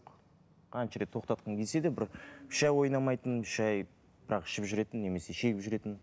қанша рет тоқтатқым келсе де бір үш ай ойнамайтынмын үш ай бірақ ішіп жүретінмін немесе шегіп жүретінмін